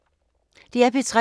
DR P3